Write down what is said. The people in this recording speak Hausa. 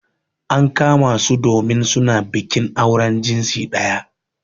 An kama su domin su na bikin auren jinsi daya.